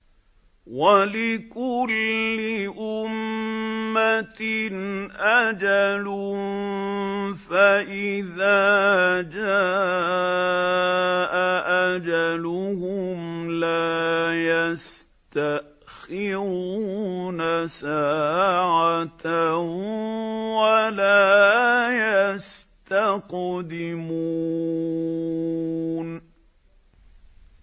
وَلِكُلِّ أُمَّةٍ أَجَلٌ ۖ فَإِذَا جَاءَ أَجَلُهُمْ لَا يَسْتَأْخِرُونَ سَاعَةً ۖ وَلَا يَسْتَقْدِمُونَ